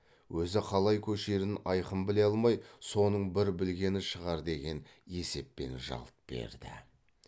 өзі қалай көшерін айқын біле алмай соның бір білгені шығар деген есеппен жалт берді